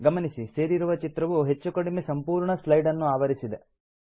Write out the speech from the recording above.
ಗಮನಿಸಿ ಸೇರಿಸಿರುವ ಚಿತ್ರವು ಹೆಚ್ಚು ಕಡಿಮೆ ಸಂಪೂರ್ಣ ಸ್ಲೈಡ್ ಅನ್ನು ಆವರಿಸಿದೆ